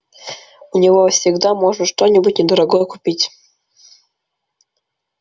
у него всегда можно что-нибудь недорогое купить